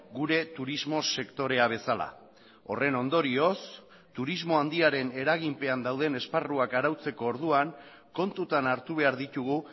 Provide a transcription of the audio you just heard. gure turismo sektorea bezala horren ondorioz turismo handiaren eraginpean dauden esparruak arautzeko orduan kontutan hartu behar ditugu